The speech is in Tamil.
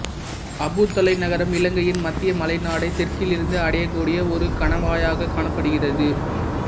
அப்புதளை நகரம் இலங்கையின் மத்திய மலைநாடை தெற்கிலிருந்து அடைய கூடிய ஒரு கணவாயாக காணப்படுகிறது